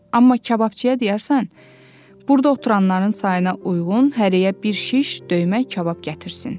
Amma kababçıya deyərsən burda oturanların sayına uyğun hərəyə bir şiş döymək kabab gətirsin.